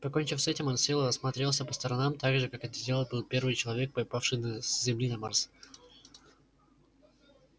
покончив с этим он сел и осмотрелся по сторонам так же как это сделал бы первый человек попавший на с земли на марс